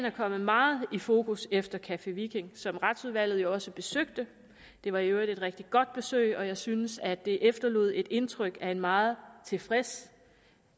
er kommet meget i fokus efter café viking som retsudvalget jo også besøgte det var i øvrigt et rigtig godt besøg og jeg synes at det efterlod et indtryk af en meget tilfreds